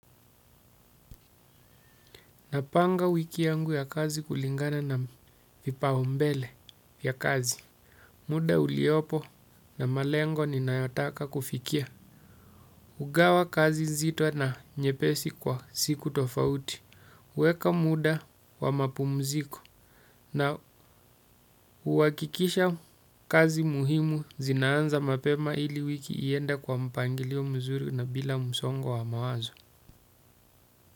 Napanga wiki yangu ya kazi kulingana na vipaumbele vya kazi. Muda uliopo na malengo ninayotaka kufikia. Hugawa kazi nzito na nyepesi kwa siku tofauti. Kuweka muda wa mapumziko na huhakikisha kazi muhimu zinaanza mapema ili wiki iende kwa mpangilio mzuri na bila msongo wa mawazo.